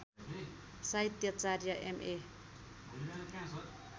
साहित्याचार्य M A